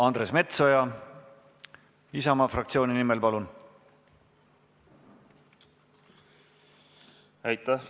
Andres Metsoja Isamaa fraktsiooni nimel, palun!